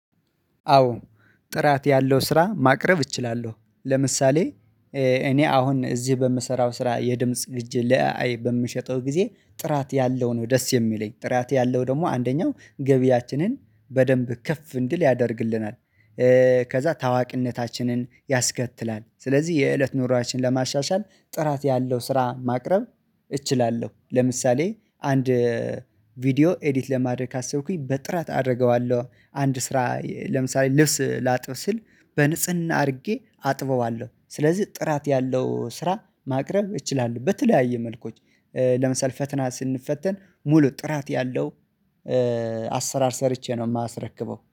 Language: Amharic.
አዎ ጥራት ያለው ስራ ማቅረብ እችላለሁ። ለምሳሌ እኔ አሁን እዚህ በምሰራው ስራ የድምጽ ግጅ ለአይ በምሸጠው ጊዜ ጥራት ያለው ነው። ደስ የሚለኝ ጥራት ያለው ደግሞ አንደኛው ገቢያችንን በደንብ ከፍ እንድል ያደርግልናል። ከዛ ታዋቂነታችንን ያስከትላል። ስለዚህ የእለት ኑሮአችን ለማሻሻል ጥራት ያለው ስራ ማቅረብ እችላለሁ። ለምሳሌ አንድ ቪዲዮ ኤዲት ለማድረግ ካሰብኩኝ በጥራት አደርገዋለሁ። አንድ ስራ ለምሳሌ ልብስ ላጥብ ስል በንጽህና አድርጌ አጥበዋለሁ። ስለዚህ ጥራት ያለው ስራ ማቅረብ እችላሉሁ። በተለያየ መልኮች ለምሳሌ ፈትና ስንፈተን ሙሉ ጥራት ያለው አሰራር ሰርቼ ነው የማስረክበው